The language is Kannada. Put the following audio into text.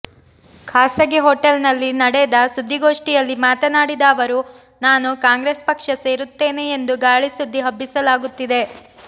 ಖಾಸಗಿ ಹೋಟೆಲ್ ನಲ್ಲಿ ನಡೆದ ಸುದ್ದಿಗೋಷ್ಠಿಯಲ್ಲಿ ಮಾತನಾಡಿದ ಅವರು ನಾನು ಕಾಂಗ್ರೆಸ್ ಪಕ್ಷ ಸೇರುತ್ತೇನೆ ಎಂದು ಗಾಳಿ ಸುದ್ದಿ ಹಬ್ಬಿಸಲಾಗುತ್ತಿದೆ